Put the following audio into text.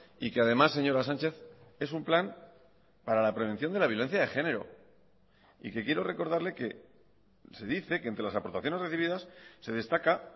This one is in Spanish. y que además señora sánchez es un plan para la prevención de la violencia de género y que quiero recordarle que se dice que entre las aportaciones recibidas se destaca